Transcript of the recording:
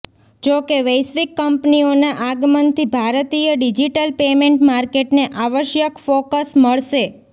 જોકે વૈશ્વિક કંપનીઓના આગમનથી ભારતીય ડિજિટલ પેમેન્ટ માર્કેટને આવશ્યક ફોકસ મળશે